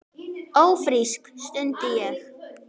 Ófrísk? stundi ég.